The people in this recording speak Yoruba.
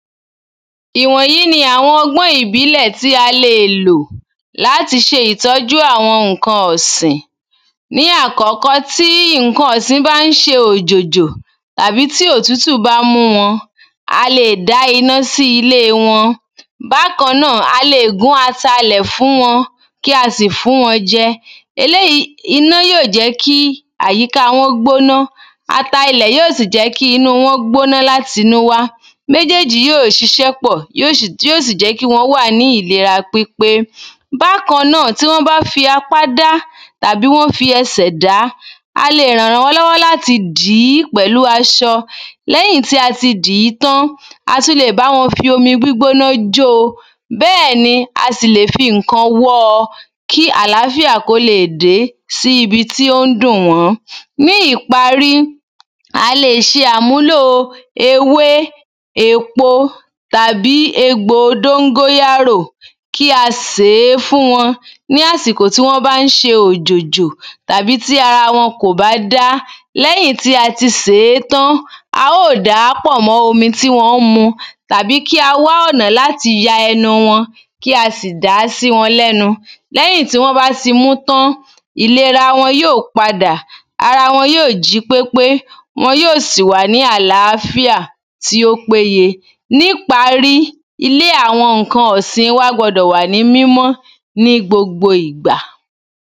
ìwọ̀nyí ni àwọn ọgbọ́n ìbílẹ̀ tí a le lò láti ṣe ìtọ́jú àwọn ǹkan ọ̀sìn ní àkọ́kọ́ tí ǹkan ọ̀sìn bá ń ṣe òjòjò tàbí tí òtútù bá ń mú wọn a lè dá iná sí ilé wọn bákańà a lè gún ata ilẹ̀ fún wọn kí a sì fún wọn jẹ eléyìí iná yóò jẹ́ kí àyíká wọn gbóná ata ilẹ̀ yóò sì jẹ́ kí inú wọn gbóná láti inú wá méjèèjì yóò ṣiṣẹ́ pọ̀ yóò ṣì tí yò sì jẹ́ kí wọ́n wà ní ìlera pípé bákańà tí wọ́n bá fi apá dá tàbí wọ́n fi ẹsẹ̀ dàá a le ràn wọ́n lọ́wọ́ láti dìí pẹ̀lú aṣọ léyìn tí ati dìí tán a tún le bá wọn fi omi gbígbóná jóo bẹ́ẹ̀ni a sì lè fi ǹkan wọ́ọ kí àlàfíà kó lè dèé sí ibi tí óńn dùn wọ́n ní ìparí a lè ṣe àmúlò ewé èpo tàbí egbò dóngóyárò kí a sèé fún wọn ní àsìkò tí wọ́n bá ń ṣe òjòjò tàbí tí ara wọn kò bá dá lẹ́yìn tí a ti sèé tán a ó dàá pọ̀ mọ́ omi tí wọ́n ń mu tàbí kí a wá ọ̀nà láti ya ẹnu wọn kí a sì dàá sí wọn lẹ́nu lẹ́yìn tí wọ́n bá ti mú tán ìlera wọn yóò padà ara wọn yóò jí pépé wọn yóò sì ní àlàfíà tí ó péye níparí ilé àwọn ǹkan ọ̀sìn wa gbọdọ̀ wà ní mímọ́ ní gbogbo ìgbà